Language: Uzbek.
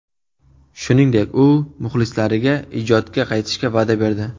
Shuningdek u muxlislariga ijodga qaytishga va’da berdi.